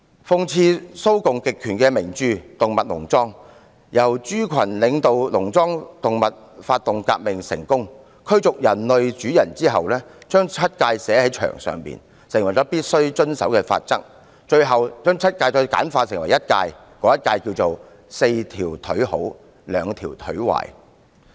諷刺蘇共極權的名著《動物農莊》中，豬群領導農莊動物發動革命成功，驅逐了人類主人後，牠們把七誡寫在牆上，成為必須遵守的法則，之後再把七誡簡化成一誡，就是："四條腿好，兩條腿壞"。